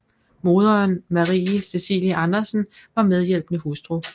Moderen Marie Cecilie Andersen var medhjælpende hustru